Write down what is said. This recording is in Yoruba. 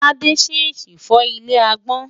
Tádé ṣèèṣì fọ́ ilé agbọ́n.